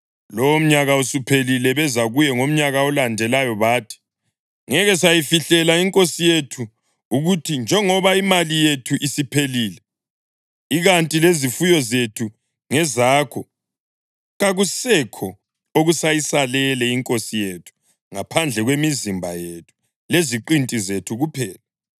Lowomnyaka usuphelile, beza kuye ngomnyaka olandelayo bathi, “Ngeke sayifihlela inkosi yethu ukuthi njengoba imali yethu isiphelile, ikanti lezifuyo zethu ngezakho, kakusekho okusayisalele inkosi yethu ngaphandle kwemizimba yethu leziqinti zethu kuphela.